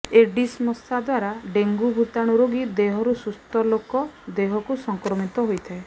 Aedes ମଶା ଦ୍ୱାରା dengue ଭୂତାଣୁ ରୋଗୀ ଦେହରୁ ସୁସ୍ଥ ଲୋକ ଦେହକୁ ସଂକ୍ରମିତ ହୋଇଥାଏ